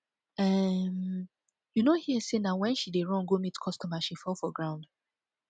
um you no hear say na wen she dey run go meet customer she fall for ground